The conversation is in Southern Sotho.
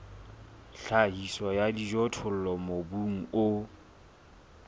tlhahiso ya dijothollo mobung o